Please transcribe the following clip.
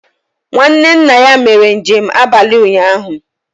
Nwanne nna ya mere njem abalị ụnyahụ